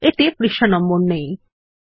এতে পৃষ্ঠা নম্বর নেই160